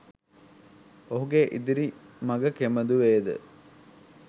ඔහුගේ ඉදිරි මග කෙබඳු වේද